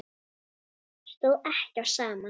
Stóð ekki á sama.